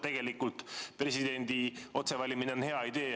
Tegelikult on presidendi otsevalimine hea idee.